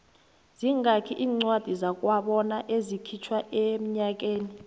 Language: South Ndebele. zingaki incwadi zakwabona ezikhitjhwa enyakeni